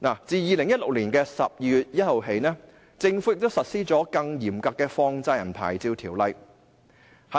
自2016年12月1日起，政府實施了更嚴格的放債人牌照條款。